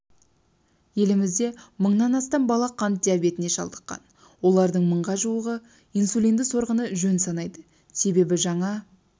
елімізде мыңнан астам бала қант диабетіне шалдыққан олардың мыңға жуығы инсулинді сорғыны жөн санайды себебі жаңа